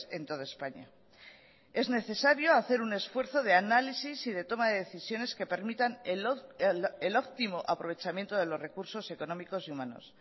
en toda españa es necesario hacer un esfuerzo de análisis y de toma de decisiones que permitan el óptimo aprovechamiento de los recursos económicos y humanos